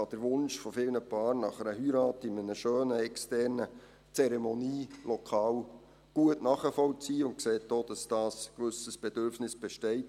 Er kann den Wunsch vieler Paare nach einer Heirat in einem schönen externen Zeremonielokal gut nachvollziehen und sieht auch, dass da ein gewisses Bedürfnis besteht.